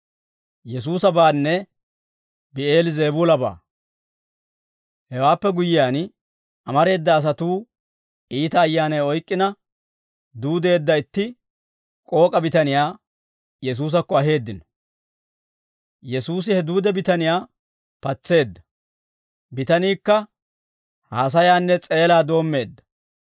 Hewaappe guyyiyaan, amareeda asatuu iita ayyaanay oyk'k'ina duudeedda itti k'ook'a bitaniyaa Yesuusakko aheeddino; Yesuusi he duude bitaniyaa patseedda; bitaniikka haasayaanne s'eelaa doommeedda.